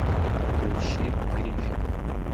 включи гриффины